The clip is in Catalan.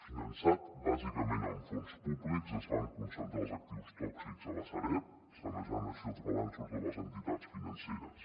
finançat bàsicament amb fons públics es van concentrar els actius tòxics a la sareb sanejant així els balanços de les entitats financeres